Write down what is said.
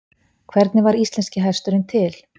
Hvernig varð íslenski hesturinn til?